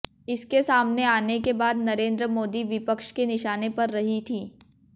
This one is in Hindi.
इसके सामने आने के बाद नरेंद्र मोदी विपक्ष के निशाने पर रही थी